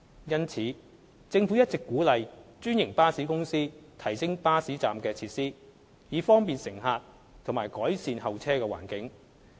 因此，政府一直鼓勵專營巴士公司提升巴士站的設施，以方便乘客及改善候車環境。